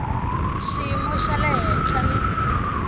xiyimo xa le henhla ni